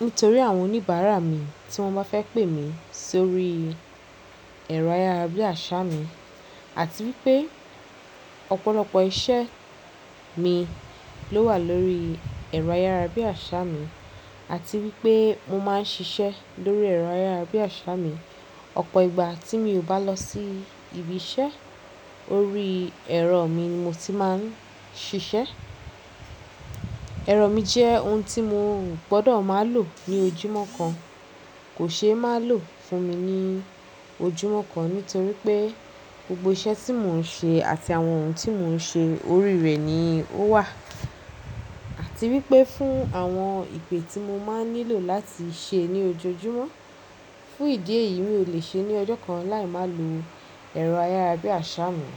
nítorí àwọn oníbàárà mi tí wọ́n bá fẹ́ pè mí sórí ẹ̀rọ ayárabíàṣá mi àti wípé ọ̀pọ̀lọpọ̀ iṣẹ́ mi ló wà lórí ẹ̀rọ ayárabíàṣá mi àti wípé mo máa ń ṣiṣẹ́ lórí ẹ̀rọ ayárabíàṣá mi. Ọ̀pọ̀ ìgbà tí mi ò bá lọ sí ibi iṣẹ́, orí ẹ̀rọ mi ni mo ti máa ń ṣiṣẹ́. Ẹ̀rọ mi jẹ́ ohun tí mo gbọdọ̀ máa lò ní ojúmọ́ kan, kò ṣe é má lò fún mi ní ojúmọ́ kan nítorí pé gbogbo iṣẹ́ tí mò ń ṣe àti àwọn ohun tí mò ń ṣe orí rẹ̀ ni ó wà. Àti wípé fún àwọn ìpè tí mo máa ń nílò láti ṣe ní ojoojúmọ́, fún ìdí èyí mi ò le ṣe ní ọjọ́ kan láì má lo ẹ̀rọ ayárabíàṣá mi.